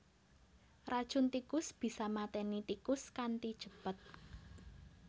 Racun tikus bisa maténi tikus kanthi cepet